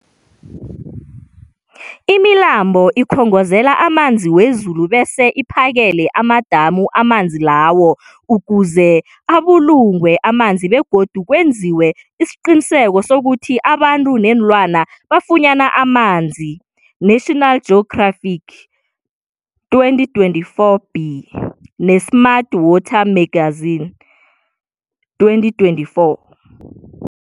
Imilambo ikhongozela amanzi wezulu bese iphakele amadamu amanzi lawo ukuze abulungwe amanzi begodu kwenziwe isiqiniseko sokuthi abantu neenlwana bafunyana amanzi, National Geographic 2024b, ne-Smart Water Magazine 2024.